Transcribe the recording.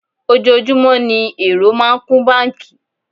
Ojoojúmọ́ ní èrò máa ń kún báńkì.